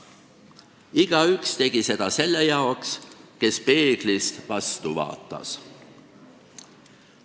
Igaüks tegi seda selle jaoks, kes peeglist vastu vaatas.